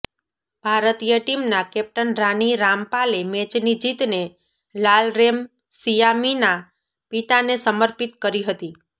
ભારતીય ટીમના કેપ્ટન રાની રામપાલે મેચની જીતને લાલરેમસિયામીના પિતાને સમર્પિત કરી હતી